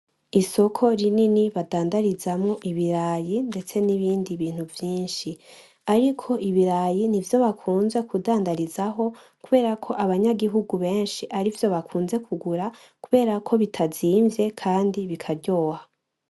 Isoko rinini badandarizamwo ibirayi ndetse n’ibindi bintu vyinshi ariko ibirayi nivyo bakunze kudandarizaho kuberako abanyagihugu benshi arivyo bakunze kugura kuberako bitazimvye Kandi bikaryoha .